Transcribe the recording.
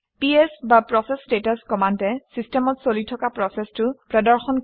PS বা process status কমাণ্ডে চিষ্টেমত চলি থকা প্ৰচেচটো প্ৰদৰ্শন কৰে